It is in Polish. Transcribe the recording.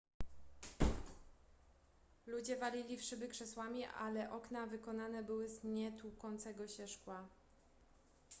ludzie walili w szyby krzesłami ale okna wykonane były z nietłukącego się szkła